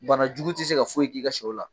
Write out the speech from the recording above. Banajugu ti se ka foyi k'i ka siyɛw la.